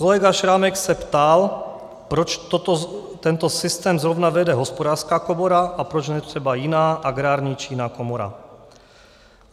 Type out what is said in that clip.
Kolega Šrámek se ptal, proč tento systém zrovna vede Hospodářská komora a proč ne třeba jiná - Agrární či jiná komora.